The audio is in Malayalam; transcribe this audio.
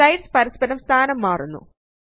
സ്ലൈഡ്സ് പരസ്പരം സ്ഥാനം മാറുന്നു